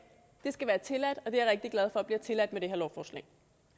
skal være tilladt og det rigtig glad for bliver tilladt med det her lovforslag